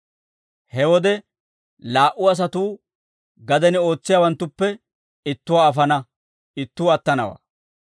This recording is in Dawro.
«He wode laa"u asatuu gaden ootsiyaawanttuppe ittuwaa afana; ittuu attanawaa.